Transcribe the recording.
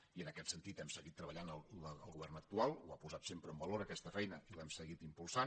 i en aquest sentit hem seguit treballant el govern actual ha posat sempre en valor aquesta feina i l’hem seguit impulsant